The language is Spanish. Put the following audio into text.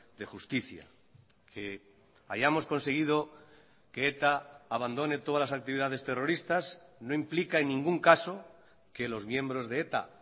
de justicia que hayamos conseguido que eta abandone todas las actividades terroristas no implica en ningún caso que los miembros de eta